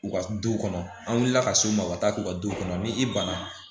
U ka du kɔnɔ an wilila ka s'u ma u ka taa k'u ka duw kɔnɔ ni i banna